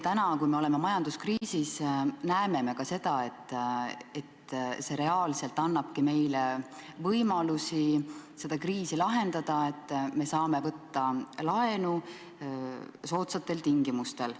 Täna, kui me oleme majanduskriisis, me näeme ka seda, et see reaalselt annabki meile võimalusi seda kriisi lahendada, et me saame võtta laenu soodsatel tingimustel.